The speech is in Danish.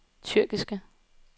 tyrkiske